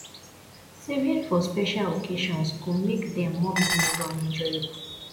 saving for special occasions go make dem more memorable and enjoyable